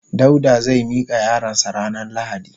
Dauda zai mika yaron sa ranan lahadi.